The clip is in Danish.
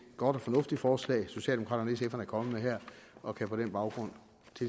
godt og fornuftigt forslag socialdemokraterne kommet med her og kan på den baggrund